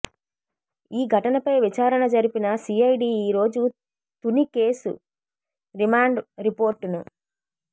ఈ ఘటన పై విచారణ జరిపిన సీఐడీ ఈరోజు తుని కేసు రిమాండ్ రిపోర్టును